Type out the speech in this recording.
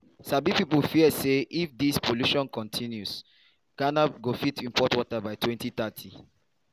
sabi pipo fear say if dis pollution continue ghana go fit import water by 2030.